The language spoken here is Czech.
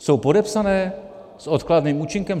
Jsou podepsané s odkladným účinkem?